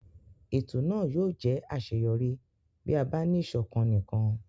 Ètò náà yóò jẹ́ àṣeyọrí bí a bá ní ìṣọ̀kan nìkan.